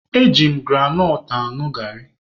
E ji m granọt añụ garị.